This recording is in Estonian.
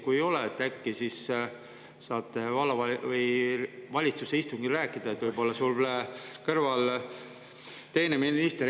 Kui ei ole, äkki siis saate vallavalitsuse istungil rääkida , kui võib-olla sul kõrval on teine minister …